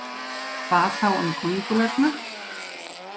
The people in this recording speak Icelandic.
Hvað þá um köngulærnar?